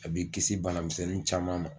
A b'i kisi bana misɛnsɛnnin caman ma.